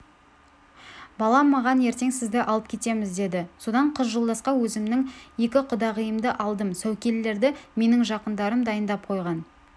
балам маған ертең сізді алып кетеміз деді содан қыз жолдасқа өзімнің екі құдағиымды алдым сәукелелерді менің жақындарым дайындап қойған